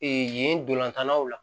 yen dolantanlaw la